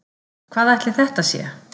Hvað ætli þetta sé?